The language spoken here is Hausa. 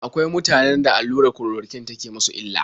Akwai mutanen da allurar kulorokwin take musu illa.